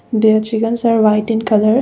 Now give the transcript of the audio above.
the chickens are white in colour.